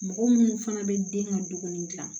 Mɔgɔ minnu fana bɛ den ka dumuni dilan